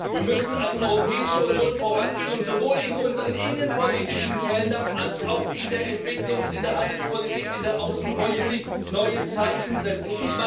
Wir müssen als Europäische Union vorangehen und sowohl in unseren innenpolitischen Feldern als auch in der Entwicklungs in der Handelspolitik, in der Außenpolitik neue Zeichen setzen.